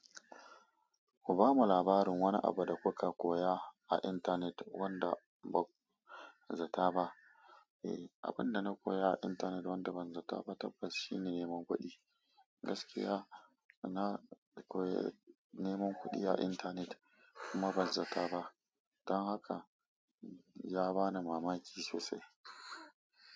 Ku ba mu labarin wani abu da kuka koya a intanet wanda ba zata ba. Eh, abin da na koya a intanet wanda ban zata ba tabbas shine neman kuɗi. Gaskiya, na koyi neman kuɗi a intanet kuma ban zata ba. Don haka ya bani mamaki sosai.